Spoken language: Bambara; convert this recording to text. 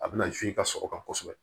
A bɛna i ka sɔrɔ kan kosɛbɛ